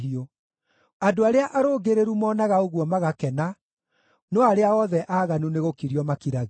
Andũ arĩa arũngĩrĩru monaga ũguo magakena, no arĩa othe aaganu nĩgũkirio makiragio.